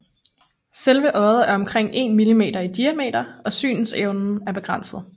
Selve øjet er omkring 1 millimeter i diameter og synsevnen er begrænset